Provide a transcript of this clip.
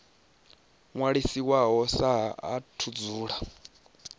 ṅwalisiwaho sa ha u dzula